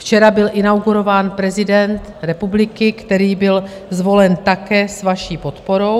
Včera byl inaugurován prezident republiky, který byl zvolen také s vaší podporou.